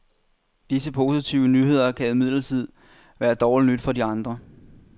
Disse positive nyheder kan imidlertid være dårligt nyt for de andre.